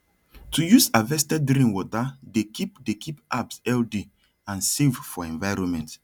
to use harvested rainwater dey keep dey keep herbs healthy and safe for environment